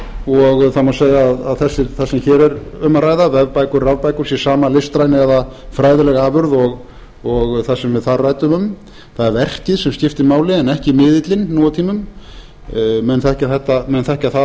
og það má segja að það sem hér er um að ræða vefbækur rafbækur sé sama listræna eða fræðileg afurð og það sem við þar ræddum um það er verkið sem skiptir máli en ekki miðillinn nú á tímum menn þekkja það